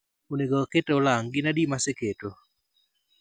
Onego aket olang' gin adi maseketo